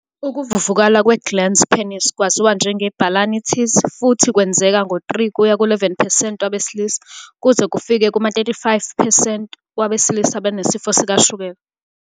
Ukuvuvukala kwe-glans penis kwaziwa njenge- balanitis, futhi, kwenzeka ngo-3-11 percent wabesilisa, kuze kufike kuma-35 percent wabesilisa abanesifo sikashukela.